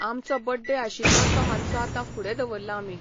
आमचो बड्डे आशिल्लो तो मात्सो आतां फुडें दवरला आमी.